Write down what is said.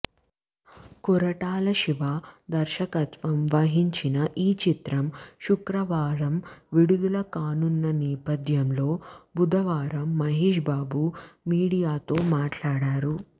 కొరటాల శివ దర్శకత్వం వహించిన ఈచిత్రం శుక్రవారం విడుదల కానున్న నేపథ్యంలో బుధవారం మహేశ్ బాబు మీడియాతో మాట్లాడారు